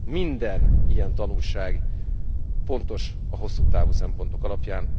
Minden ilyen tanulság fontos a hosszú távú szempontok alapján.